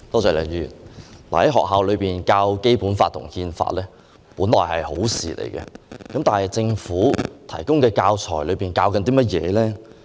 在學校內教授《基本法》和《憲法》本來是好事，但政府提供的教材是甚麼？